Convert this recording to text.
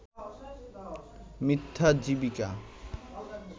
মিথ্যা জীবিকা